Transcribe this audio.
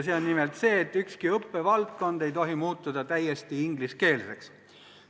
See on nimelt see, et ükski õppevaldkond ei tohi muutuda täiesti ingliskeelseks.